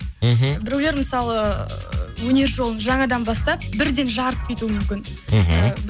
мхм біреулер мысалы өнер жолын жаңадан бастап бірден жарып кетуі мүмкін мхм